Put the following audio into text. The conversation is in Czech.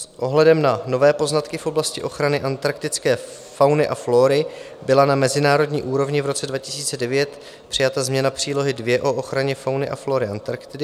S ohledem na nové poznatky v oblasti ochrany antarktické fauny a flóry byla na mezinárodní úrovni v roce 2009 přijata změna přílohy II o ochraně fauny a flóry Antarktidy.